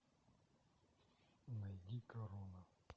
найди корона